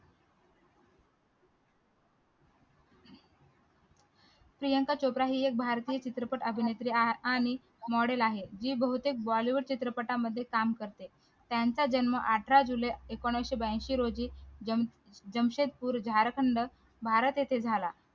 प्रियांका चोपडा भारतीय ही एक चित्रपट अभिनेत्री आहे आणि model आहे ही बहुतेक bollywood चित्रपटांमध्ये काम करते त्यांचा जन्म अठरा जुलै एकोणीशे ब्याऐंशी रोजी जमशेदपूर झारखंड भारत येथे झाला